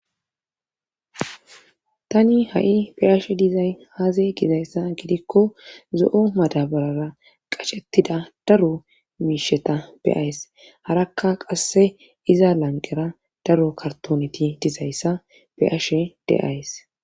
Tani ha7i beyashe dizay haaze gizayssa gidikko zo7o madabarara qacettida daro miisheta beyays harakka qasse iza lanqera daro kartoneti dizayssa beashe deays